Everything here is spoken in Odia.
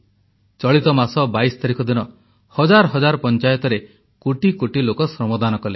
ଚଳିତ ମାସ 22 ତାରିଖ ଦିନ ହଜାର ହଜାର ପଂଚାୟତରେ କୋଟି କୋଟି ଲୋକ ଶ୍ରମଦାନ କଲେ